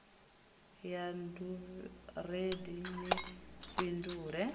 ya d vhurendi ni fhindule